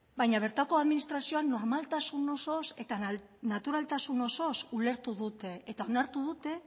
baina bertako administrazioa normaltasun osoz eta naturaltasun osoz ulertu dute eta onartu dute